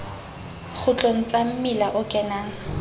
kgutlong sa mmila o kenang